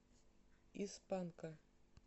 из панка